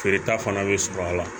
Feereta fana bɛ sɔrɔ a la